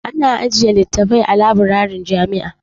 Ana ajiye littattafai a labirarin jami'a.